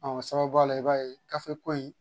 o sababuya la i b'a ye ko in